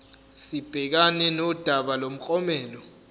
sibhekane nodaba lomklomelo